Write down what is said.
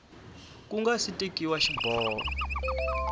ku nga si tekiwa xiboho